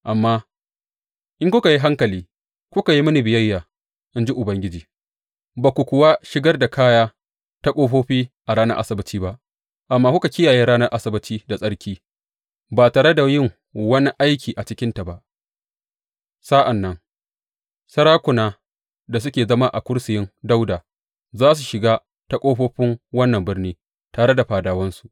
Amma in kuka yi hankali kuka yi mini biyayya, in ji Ubangiji, ba ku kuwa shigar da kaya ta ƙofofi a ranar Asabbaci ba, amma kuka kiyaye ranar Asabbaci da tsarki ba tare da yin wani aiki a cikinta ba, sa’an nan sarakuna da suke zama a kursiyin Dawuda za su shiga ta ƙofofin wannan birni tare da fadawansu.